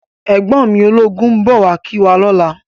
Ègbòn mi ólógún n bò wá kiwá lòlá